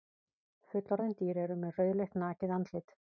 Fullorðin dýr eru með rauðleitt nakið andlit.